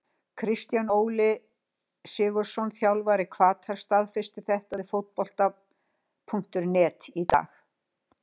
Kristján Óli SIgurðsson þjálfari Hvatar staðfesti þetta við Fótbolta.net í dag.